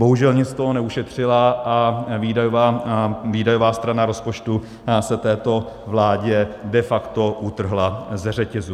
Bohužel nic z toho neušetřila a výdajová strana rozpočtu se této vládě de facto utrhla ze řetězu.